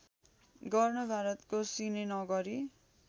गर्न भारतको सिनेनगरि